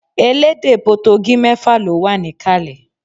Elédè Potogí mẹ́fà ló wà níkàlẹ̀